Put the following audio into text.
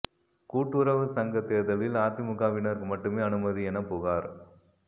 கூட்டுறவு சங்க தேர்தலில் அதிமுகவினருக்கு மட்டுமே அனுமதி என புகார்